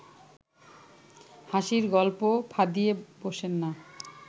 হাসির গল্প ফাঁদিয়া বসেন না